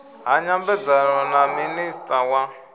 ha nyambedzano na minista wa